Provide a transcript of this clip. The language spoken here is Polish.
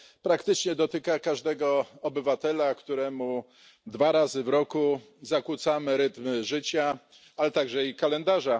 Praktycznie dotyka każdego obywatela, któremu dwa razy w roku zakłócamy rytm życia, ale także i kalendarza.